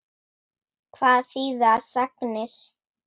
Hvað þýða sagnir?